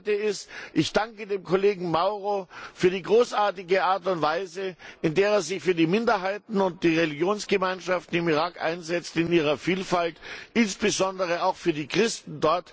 Das Zweite ist Ich danke dem Kollegen Mauro für die großartige Art und Weise, in der er sich für die Minderheiten und die Religionsgemeinschaften im Irak in ihrer Vielfalt einsetzt, insbesondere auch für die Christen.